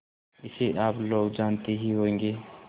इसे आप लोग जानते ही होंगे